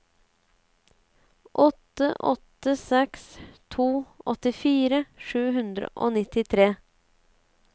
åtte åtte seks to åttifire sju hundre og nittitre